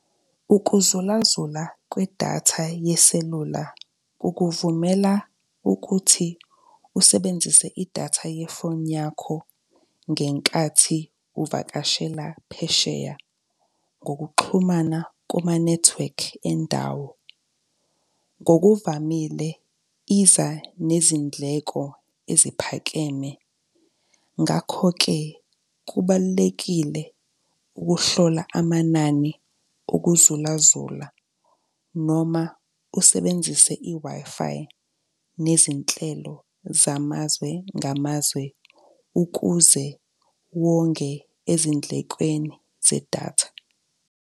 Ukuzulazula kwedatha yeselula kukuvumela ukuthi usebenzise idatha yefoni yakho ngenkathi uvakashela phesheya ngokuxhumana kuma-network endawo. Ngokuvamile iza nezindleko eziphakeme, ngakho-ke kubalulekile ukuhlola amanani okuzulazula noma usebenzise i-Wi-Fi nezinhlelo zamazwe ngamazwe ukuze wonge ezindlekweni zedatha.